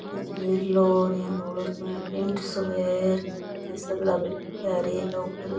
पीछे नीलो और यान धोलो सो यान टेंट सो है ऐ सगळा बैठया हेर आ एक ऊपर --